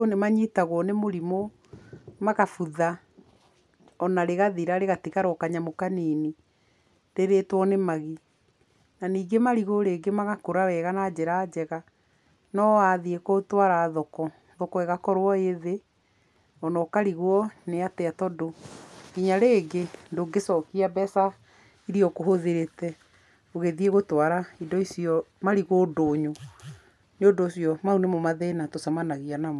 Marigũ nĩ manyitagwo nĩ mũrimũ, magabutha, ona rĩgathira rĩgatigara o kanyamũ kanini, rĩrĩtwo nĩ magi. Na ningĩ marigũ rĩngĩ magakũra wega na njĩra njega, no wathiĩ gũtwara thoko, thoko ĩgakorwo ĩ thĩ, o na ũkarigwo nĩ atĩa, tondũ nginya rĩngĩ ndũngĩcokia mbeca iria ũkũhũthĩrĩte ũgĩthiĩ gũtwara indo icio, marigũ ndũnyũ, nĩ ũndũ ũcio mau nĩmo mathĩna tũcamanagia namo.